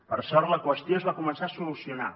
per sort la qüestió es va començar a solucionar